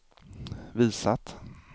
visat